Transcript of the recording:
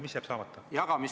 Mis jääb saamata?